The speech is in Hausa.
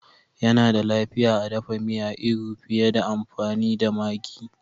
Yana da lafiya a dafa miya iru fiye da amfani da maggi